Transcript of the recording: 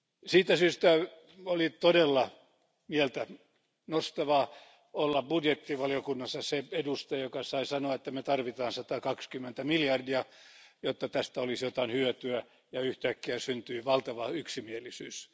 Siitä syystä oli todella mieltä nostavaa olla budjettivaliokunnassa se edustaja, joka sai sanoa, että me tarvitsemme 120 miljardia euroa, jotta tästä olisi jotain hyötyä, ja yhtäkkiä syntyy valtava yksimielisyys.